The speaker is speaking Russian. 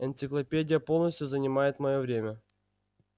энциклопедия полностью занимает моё время